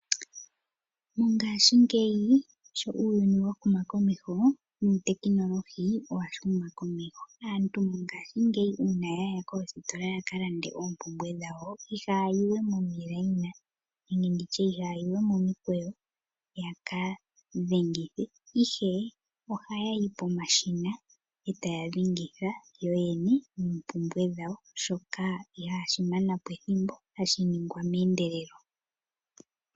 Mongashingeyi sho uuyuni wahuma komeho notekinolohi oyahuma komeho. Aantu mongashingeyi una yaya koositola yaka lande oompumbwe dhawo iha ya yiwe momiikweyo yaka dhengithe ihe ohaya yi pomashina eta ya dhengitha yoyene oompumbwe dhawo shoka ihashi manapo ethimbo hashi ningwa meendelelo.